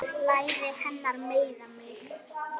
Læri hennar meiða mig.